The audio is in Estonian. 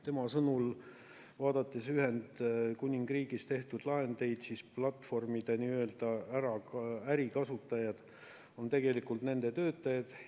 Tema sõnul, vaadates Ühendkuningriigis tehtud lahendeid, siis platvormide ärikasutajad on tegelikult nende töötajad.